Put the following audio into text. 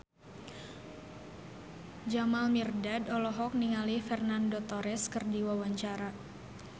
Jamal Mirdad olohok ningali Fernando Torres keur diwawancara